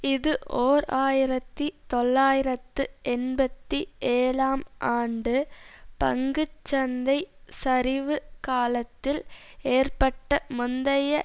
இது ஓர் ஆயிரத்தி தொள்ளாயிரத்து எண்பத்தி ஏழாம் ஆண்டு பங்கு சந்தை சரிவு காலத்தில் ஏற்பட்ட முந்தைய